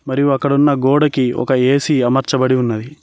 మరియు అక్కడున్న గోడకి ఒక ఏసీ అమర్చి ఉన్నది.